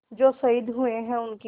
जो शहीद हुए हैं उनकी